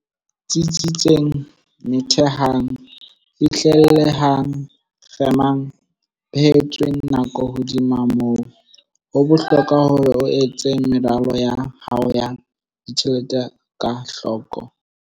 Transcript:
Tsitsitseng Methehang Fihlellehang Kgemang Behetsweng Nako Hodima moo, ho bohlokwa hore o etse meralo ya hao ya ditjhelete ka hloko.